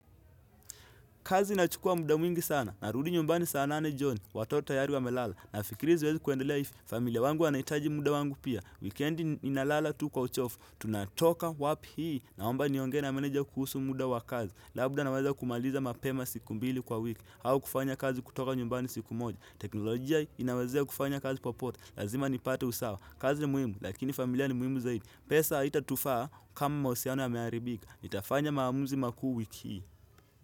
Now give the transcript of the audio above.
Kazi inachukua muda mwingi sana. Narudi nyumbani saa nane jioni. Watoto tayari wamelala. Na fikiri siwezi kuendelea hivi. Familia wangu wanahitaji muda wangu pia. Wikendi ninalala tu kwa uchovu. Tunatoka wapi hii. Naomba nionge na manager kuhusu muda wa kazi. Labda naweza kumaliza mapema siku mbili kwa wiki. Au kufanya kazi kutoka nyumbani siku moja. Teknolojia inawezea kufanya kazi popote. Lazima nipate usawa. Kazi muhimu. Lakini familia ni muimu zaidi. Pesa haitatufaa kama mahusiano yameharibika nitafanya maamuzi makuu wiki hii.